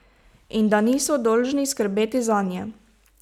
In da niso dolžni skrbeti zanje.